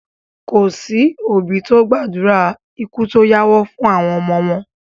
Kòsí òbí tí ó gbàdúrà ikú tó yáwọ́ fún àwọn ọmọ wọn